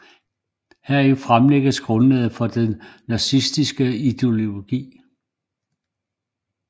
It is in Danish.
Heri fremlægges grundlaget for den nazistiske ideologi